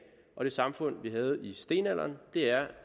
og det samfund vi havde i stenalderen er